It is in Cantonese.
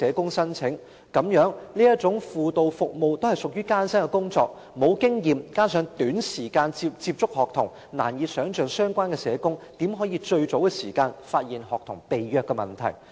其實這種輔導服務屬於艱辛的工作，相關社工沒有經驗加上只有短時間接觸學童，難以想象他們如何能及早發現學童被虐的問題。